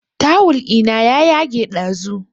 Tawul ina ya yage ɗazu